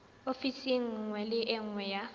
ofising nngwe le nngwe ya